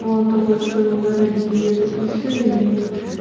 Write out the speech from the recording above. мало того что они дорогие так ещё и и